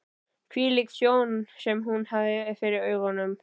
Hvílík sjón sem hún hafði fyrir augunum!